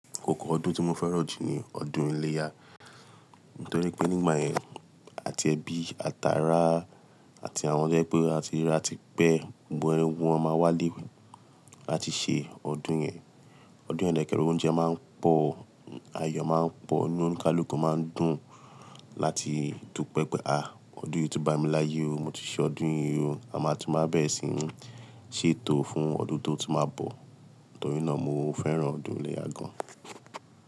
Ọ̀kọ̀ ọdún tí mo fẹ́ràn jù ni ọdún iléyá. Nítorí pé nígbà yẹn àti ẹbí, àtàrá àti àwọn tó jẹ́ pé a tiràra tipẹ, gbogbo ẹgbọn máa wálé láti ṣe ọdún yẹn. Ọdún yẹn dekere oúnjẹ máa ń pọ̀, ayọ̀ máa ń pọ̀, inú óníkálùkù máa ń dùn láti tú pẹ́ẹ́pẹ́. Àá! Ọdún yí tó bá mi láyé o, mo ti ṣe ọdún yí o, a máa tún máa bẹ̀ ẹ́ sí ní ṣètò fún ọdún tó tún máa bọ̀. Nítorí náà mo fẹ́ràn ọdún iléyá gan.